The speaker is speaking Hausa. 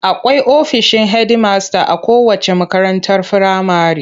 Akwai ofishin hedimasta a kowacce makarantar firamare.